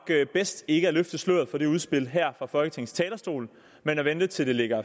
bedst ikke at løfte sløret for dette udspil her fra folketingets talerstol men vente til det ligger